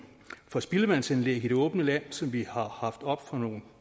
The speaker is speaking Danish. for spildevandsanlæg i det åbne land som vi har haft oppe for nogen